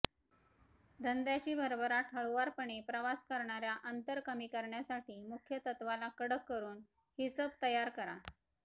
धंद्याची भरभराट हळुवारपणे प्रवास करणार्या अंतर कमी करण्यासाठी मुख्यतत्त्वाला कडक करून हिसब तयार करा